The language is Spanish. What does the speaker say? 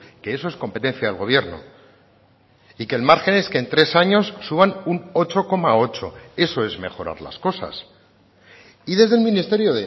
que eso es competencia del gobierno y que el margen es que en tres años suban un ocho coma ocho eso es mejorar las cosas y desde el ministerio